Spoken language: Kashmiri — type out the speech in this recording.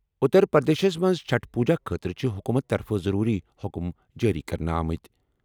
اُتر پرٛدیشس منٛز چھٹھ پوٗزا خٲطرٕ چھِ حُکوٗمتہٕ طرفہٕ ضروٗری حُکُم جٲری کرنہٕ آمٕتۍ ۔